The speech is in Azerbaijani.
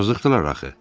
Yazıqdılar axı.